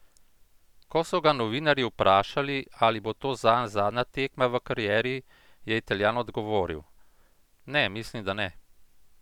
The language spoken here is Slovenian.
Ko so ga novinarji vprašali, ali bo to zanj zadnja tekma v karieri, je Italijan odgovoril: 'Ne, mislim, da ne.